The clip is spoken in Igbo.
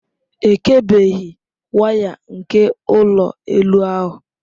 Ekebeghị waya nke ụlọ elu ahụ.